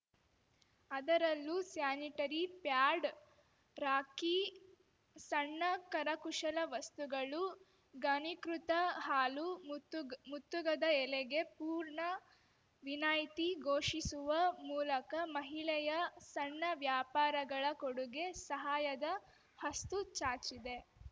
ಅದರಲ್ಲೂ sanitary pad rakhi ಸಣ್ಣ ಕರಕುಶಲ ವಸ್ತುಗಳು ಘನೀಕೃತ ಹಾಲು ಮುತ್ತುಗ್ ಮುತ್ತುಗದ ಎಲೆಗೆ ಪೂರ್ಣ ವಿನಾಯ್ತಿ ಘೋಷಿಸುವ ಮೂಲಕ ಮಹಿಳೆಯ ಸಣ್ಣ ವ್ಯಾಪಾರಗಳ ಕಡೆಗೆ ಸಹಾಯದ ಹಸ್ತು ಚಾಚಿದೆ